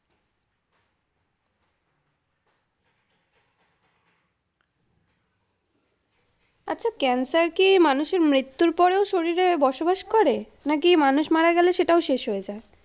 আচ্ছা cancer কি মানুষের মৃত্যুর পরেও শরীরে বসবাস করে নাকি মানুষ মারা গেলে সেটাও শেষ হয়ে যায়?